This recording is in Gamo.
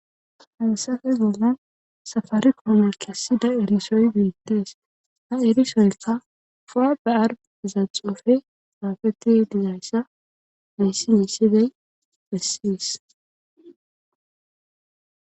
Halsafe bollan safari koome kessida erisoy biittees ha erisoyka powa bear zaxofe haafeti dizayssa mayssi yiisidey bessis.